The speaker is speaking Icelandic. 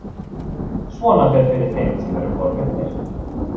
Svona fer fyrir þeim sem eru forvitnir.